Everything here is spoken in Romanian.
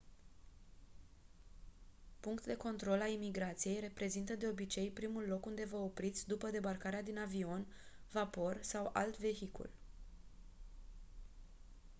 punct de control a imigrației reprezintă de obicei primul loc unde vă opriți după debarcarea din avion vapor sau alt vehicul